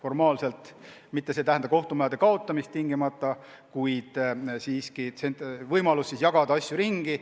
See ei tähendaks tingimata kohtumajade kaotamist, kuid tähendaks võimalust jagada asju ringi.